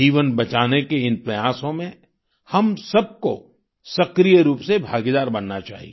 जीवन बचाने के इन प्रयासों में हम सबको सक्रिय रूप से भागीदार बनना चाहिए